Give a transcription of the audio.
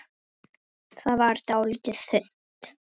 Eva fer að hlæja.